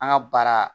An ka baara